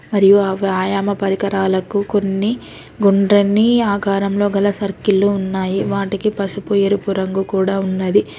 మరియు ఆ వ్యాయామ పరికరాలకు కొన్ని గుండ్రని ఆకారంలో గల సర్కిల్ ఉన్నాయి వాటికి పసుపు ఎరుపు రంగు కూడా ఉన్నది.